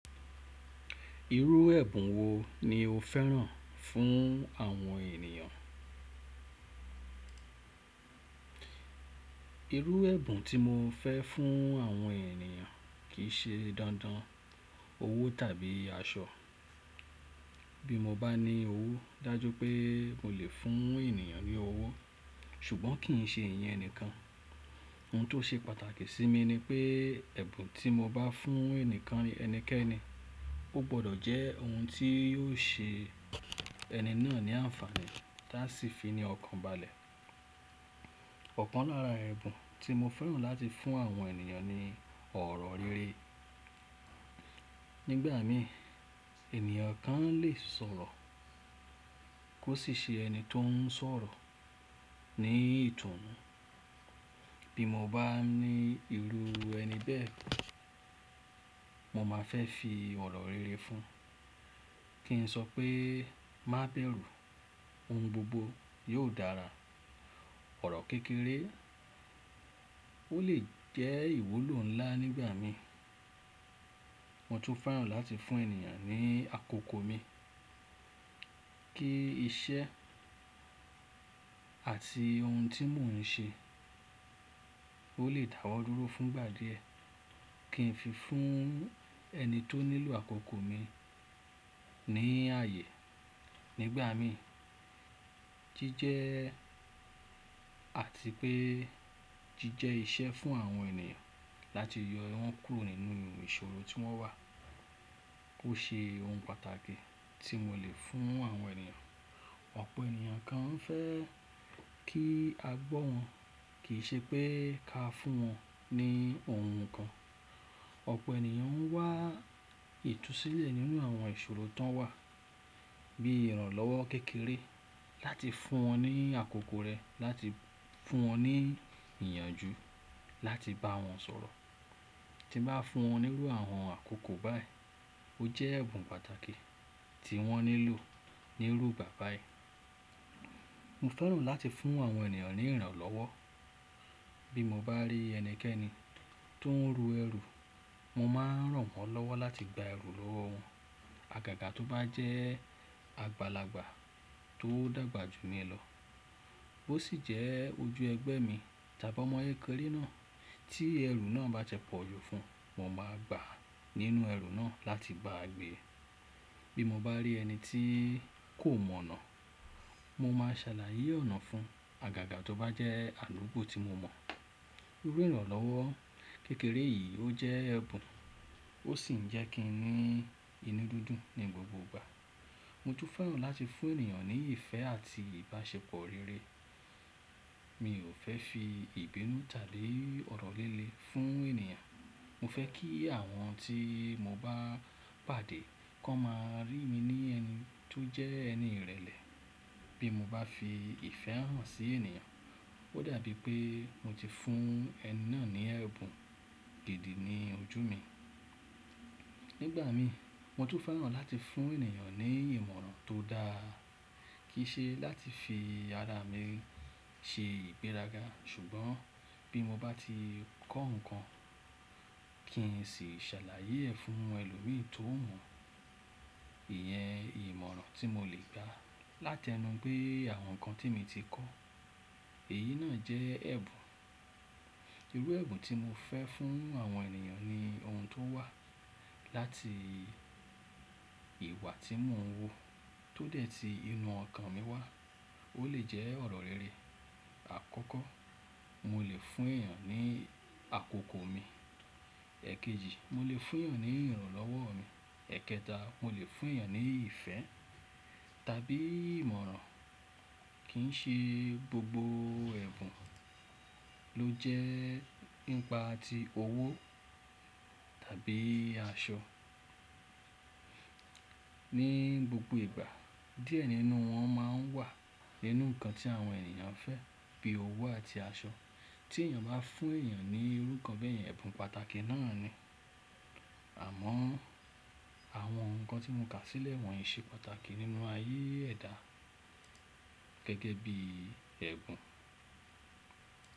Irú ẹ̀bùn wo ni o fẹ́ràn fún àwọn ènìyàn? Irú ẹ̀bùn tí mo fẹ́ fún àwọn ènìyàn kì í se dandan owó tàbí aṣọ. Bí mo bá ní owó, dájú pé mo lè fún ènìyàn ní owó, ṣùgbọ́n kì í ṣe ìyẹn nìkan. Ohun tó ṣe pàtàkì sí mi ni pé ẹ̀bùn tí mo bá fún ẹnìkẹ́ni, ó gbọdọ̀ jẹ́ ohun tí yóò ṣe ẹni náà ní ànfàní ta sì fi ní ọkàn balẹ̀. Ọ̀kan lára ẹ̀bùn tí mo fẹ́ràn láti fún àwọn ènìyàn ni ọ̀rọ̀ rere. Nígbà mí ènìyàn kan lè sọ̀rọ̀ kó sì ṣe ẹni tó ń sọ̀rọ̀ ní ìtùnú. Bí mo bá ní irú ẹni bẹ́ẹ̀, mo máa fẹ́ fi ọ̀rọ̀ rere fún. Kí n sọ pé má bẹ̀rù, ohùn gbogbo yóò dára. Ọ̀rọ̀ kékeré o lè jẹ́ ìwúlò ńlá nígbà mí. Mo tún fẹ́ràn láti fún ènìyàn ní àkókò mi. Kí iṣẹ́ àti ohun tí mò ń ṣe o lè dàwọ́ dúró fún ìgbà díẹ̀, kí n fi fún ẹni tó nílò àkókò mi ní ààyè. Nígbà mí, jíjẹ àti pé jíjẹ iṣẹ́ fún àwọn ènìyàn láti yọ wọ́n kúrò nínú ìṣòro tí wọ́n wà, ó ṣe ohun pàtàkì tí mo lè fún àwọn ènìyàn. Ọ̀pọ̀ ènìyàn gán fẹ́ kí a gbọ́ wọn, kì í ṣe pé ká fún wọn ní ohun kan. Ọ̀pọ̀ ènìyàn ń wá ìtúsílẹ̀ nínú àwọn ìṣòro tán wà bí ìrànlọ́wọ́ kékeré láti fún wọn ní àkókò rẹ, láti fún wọn ní ìyànjú, láti bá wọn sọ̀rọ̀. Tí bá fún wọn nírú àwọn àkókò báyìí, o jẹ́ ẹ̀bùn pàtàkì tí wọ́n nílò nírúgbà báyìí. Mo fẹ́ràn láti fún àwọn ènìyàn ní ìrànlọ́wọ́. Bí mo bá rí ẹni kẹ́ni tó ń ru ẹrù, mo máa ràn wọ́n lọ́wọ́ láti gba ẹrù lọ́wọ́ wọn. Àgàgà tó bá jẹ́ àgbàlagbà tó dàgbà jù mí lọ, ó ṣì jẹ́ ojú ẹgbẹ́ mi tàbí ọmọ kékeré náà tí ẹrù náà bá tipọ̀ jù fún, mo máa gbà nínú ẹrù náà láti baa gbè. Bí mo bá rí ẹni tí kò mọ̀nà, mo máa ṣàlàyé ọ̀nà fún. Àgàgà tó bá jẹ́ àdúgbò tí mo mọ̀. Irú ìrànlọ́wọ́ kékeré yìí ó jẹ́ ẹ̀bùn, ó sì ń jẹ́ kí n ní inú dídùn ní gbogbo ìgbà. Mo tún fẹ́ràn láti fún ènìyàn ní ìfẹ́ àti ìbáṣepọ̀ rere. Mi ò fẹ́ fi ìbínú tàbí ọ̀rọ̀ lílé fún ènìyàn. Mo fẹ́ kí àwọn tí mo bá pàdé kó máa rí mi ní ẹni tó jẹ́ ẹni ìrẹ̀lẹ̀. Bí mo bá fi ìfẹ́ hàn sí ènìyàn, ó dàbí pé mo ti fún ẹni náà ní ẹ̀bùn gidi ní ojú mi. Nígbà mí, mo tún fẹ́ràn láti fún ènìyàn ní ìmọ̀ràn tó dáa. Kì í ṣe láti fi ara mi ṣe ìgbéraga ṣùgbọ́n bí mo bá ti kọ́ nǹkan, kí n sì ṣàlàyé ẹ fún ẹlòmí tó mọ̀. Ìyẹn ìmọ̀ràn tí mo lè gba láti ẹnu pé àwọn nǹkan tí mi ti kọ́, èyí náà jẹ́ ẹ̀bùn. Irú ẹ̀bùn tí mo fẹ́ fún àwọn ènìyàn ni ohun tó wà láti ìwà tí mò ń wù tó dẹ̀ ti inú ọkàn mi wá. Ó lè jẹ́ ọ̀rọ̀ rere. Àkọ́kọ́, mo lè fún èyàn ní àkókò mi. Ẹ̀kejì, mo lè fún èyàn ní ìrànlọ́wọ́ mi. Ẹ̀kẹta, mo lè fún ènìyàn ní ìfẹ́ tàbí ìmọ̀ràn. Kì í ṣe gbogbo ẹ̀bùn ló jẹ́ nípa ti owó tàbí aṣọ. Ní gbogbo ìgbà díẹ̀ nínú wọn máa ń wà nínú nǹkan tí àwọn ènìyàn fẹ́ bí owó àti aṣọ. Tí èyàn bá fún ènìyàn ní irú kan bẹ́yẹn, ẹ̀bùn pàtàkì náà ni. Àmọ́ àwọn nǹkan tí mo kà sílẹ̀ wọ̀nyí ṣe pàtàkì nínú ayé ẹ̀dá gẹ́gẹ́bí ẹ̀bùn.